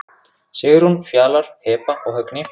Sigrún, Fjalar, Heba og Högni.